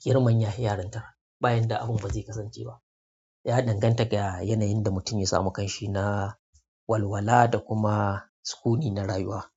girman ya hi yarintar bayan da afim ba zai kasance ba. Ya danganta ga yanayin da mutum ya samu ƙanshi na walwala da kuma sukuni na rayuwa.